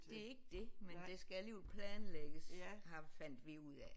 Det er ikke det men det skal alligevel planlægges har fandt vi ud af